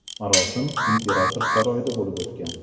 Marosim imperator saroyida bo‘lib o‘tgan.